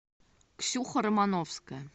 ксюха романовская